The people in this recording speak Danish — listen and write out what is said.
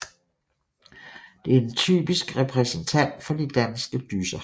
Det er en typisk repræsentant for de danske dysser